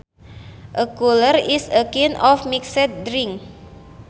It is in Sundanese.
A cooler is a kind of mixed drink